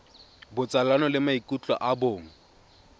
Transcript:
botsalano le maikutlo a bong